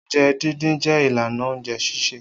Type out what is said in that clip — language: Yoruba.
Oúnjẹ dídín jẹ́ ìlànà oúnjẹ sísè.